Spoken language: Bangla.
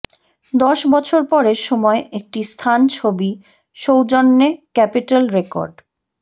দশ বছর পরে সময় একটি স্থান ছবি সৌজন্যে ক্যাপিটল রেকর্ড